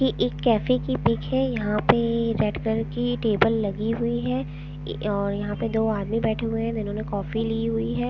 ये एक कैफे की पिक है यहां पे रेड कलर की टेबल लगी हुई है और यहां पे दो आदमी बैठे हुए हैं जिन्होंने काफी ली हुई है।